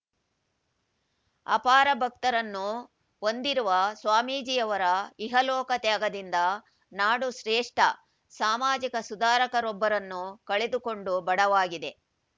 ಅಪಾರ ಭಕ್ತರನ್ನು ಹೊಂದಿರುವ ಸ್ವಾಮೀಜಿಯವರ ಇಹಲೋಕ ತ್ಯಾಗದಿಂದ ನಾಡು ಶ್ರೇಷ್ಠ ಸಾಮಾಜಿಕ ಸುಧಾರಕರೊಬ್ಬರನ್ನು ಕಳೆದುಕೊಂಡು ಬಡವಾಗಿದೆ